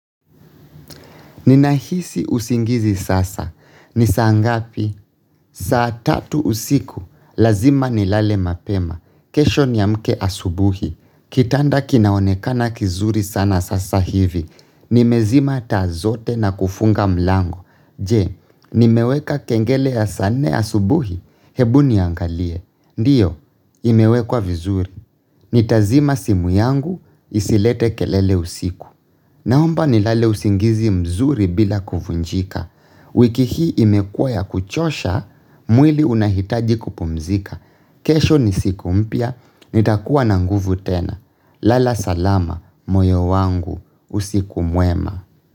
Ninahisi usingizi sasa. Ni saa ngapi? Saa tatu usiku. Lazima nilale mapema. Kesho niamke asubuhi. Kitanda kinaonekana kizuri sana sasa hivi. Nimezima taa zote na kufunga mlango. Je, nimeweka kengele ya saa nne asubuhi? Hebu niangalie. Ndiyo, imewekwa vizuri. Nitazima simu yangu, isilete kelele usiku. Naomba nilale usingizi mzuri bila kuvunjika. Wiki hii imekuwa ya kuchosha, mwili unahitaji kupumzika. Kesho ni siku mpya, nitakuwa na nguvu tena. Lala salama, moyo wangu, usiku mwema.